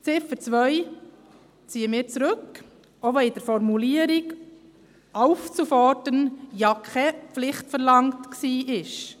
Die Ziffer 2 ziehen wir zurück, auch wenn mit der Formulierung «aufzufordern» ja keine Pflicht verlangt wurde.